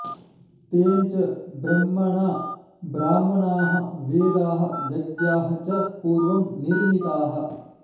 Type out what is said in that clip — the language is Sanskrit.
तेन च ब्रह्मणा ब्राह्मणाः वेदाः यज्ञाः च पूर्वं निर्मिताः